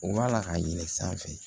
U b'a la k'a ɲininka